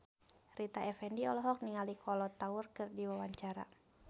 Rita Effendy olohok ningali Kolo Taure keur diwawancara